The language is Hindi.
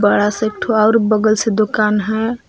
बड़ा से एक ठो आउर बगल से दुकान है।